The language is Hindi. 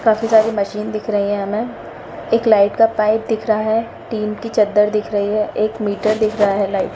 काफी सारी मशीन दिख रही है हमे एक लाइट का पाइप दिख रहा है टीन की चद्दर दिख रही है एक मीटर दिख रहा है। लाइट --